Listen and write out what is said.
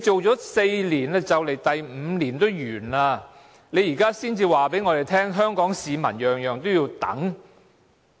當了4年特首，第五年也即將完結，現在才告訴我們香港市民每事也要等？